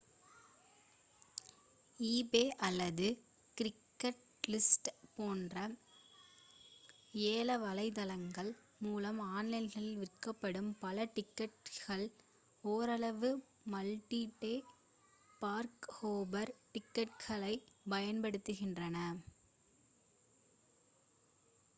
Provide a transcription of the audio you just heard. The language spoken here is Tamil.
ஈபே அல்லது கிரெய்க்ஸ்லிஸ்ட் போன்ற ஏல வலைத்தளங்கள் மூலம் ஆன்லைனில் விற்கப்படும் பல டிக்கெட்டுகள் ஓரளவு மல்டி-டே பார்க்-ஹாப்பர் டிக்கெட்டுகளைப் பயன்படுத்துகின்றன